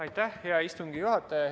Aitäh, hea istungi juhataja!